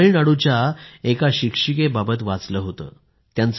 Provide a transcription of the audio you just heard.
मी तामिळनाडूच्या एका शिक्षिकेबाबत वाचलं होत